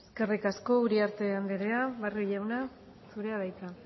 eskerrik asko uriarte andrea barrio jauna zurea da hitza